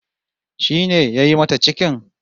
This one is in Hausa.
Shi ne yayi mata cikin?